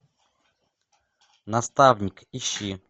наставник ищи